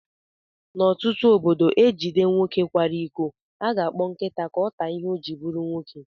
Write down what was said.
N'otutu ọbọdọ ejide nwoke kwara ịkọ, aga akpọ nkịta ka ọ taa ìhè ọ jiri bụrụ nwoke.